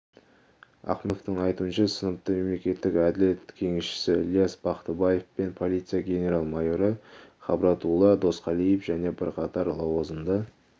ахымовтың айтуынша сыныпты мемлекеттік әділет кеңесшісі ілияс бақтыбаев пен полиция генрал-мойоры хабратулла досқалиев және бірқатар лауазымды